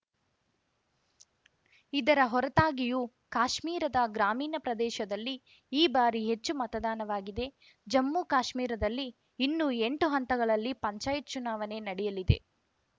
ಇದರ ಹೊರತಾಗಿಯೂ ಕಾಶ್ಮೀರದ ಗ್ರಾಮೀಣ ಪ್ರದೇಶದಲ್ಲಿ ಈ ಬಾರಿ ಹೆಚ್ಚು ಮತದಾನವಾಗಿದೆ ಜಮ್ಮುಕಾಶ್ಮೀರದಲ್ಲಿ ಇನ್ನೂ ಎಂಟು ಹಂತಗಳಲ್ಲಿ ಪಂಚಾಯತ್‌ ಚುನಾವಣೆ ನಡೆಯಲಿದೆ